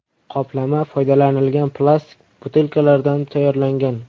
Qoplama foydalanilgan plastik butilkalardan tayyorlangan.